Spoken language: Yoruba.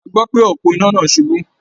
A gbọ́ pé òpó iná náà ṣubú.